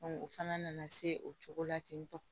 u fana nana se o cogo la ten tɔ